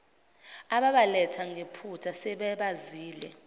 ababaletha ngephutha sebebazele